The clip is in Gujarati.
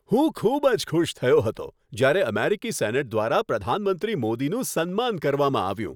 હું ખૂબ જ ખુશ થયો હતો જ્યારે અમેરિકી સેનેટ દ્વારા પ્રધાનમંત્રી મોદીનું સન્માન કરવામાં આવ્યું.